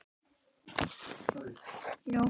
Hugrún Halldórsdóttir: Og er það lýsandi fyrir hana?